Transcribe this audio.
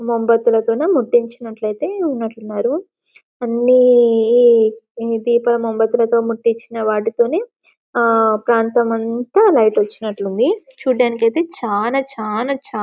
ముంబెత్తులతో ముట్టించు అట్లయితే ఉన్నట్టున్నారు అన్ని దీపాలు ముంబెత్తులతో ముట్టించి నా వాటితోనే ఆ ప్రాంతమంతా లైట్ వచ్చినట్టుంది చూడ్డానికి అయితే చానా చానా చానా చానా --